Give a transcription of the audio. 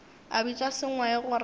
a bitša sengwai gore a